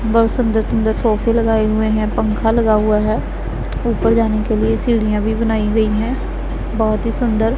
बहोत सुंदर सुंदर सोफे लगाए हुए है पंखा लगा हुआ है ऊपर जाने के लिए सीढ़ियां भी बनाई गई है। बहोत ही सुंदर--